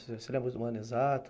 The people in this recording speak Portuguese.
Você lembra um ano exato?